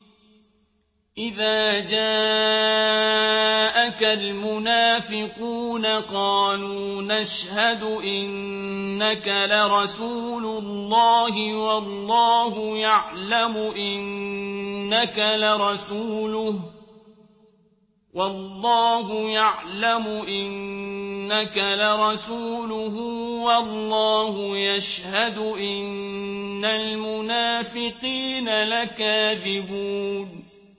إِذَا جَاءَكَ الْمُنَافِقُونَ قَالُوا نَشْهَدُ إِنَّكَ لَرَسُولُ اللَّهِ ۗ وَاللَّهُ يَعْلَمُ إِنَّكَ لَرَسُولُهُ وَاللَّهُ يَشْهَدُ إِنَّ الْمُنَافِقِينَ لَكَاذِبُونَ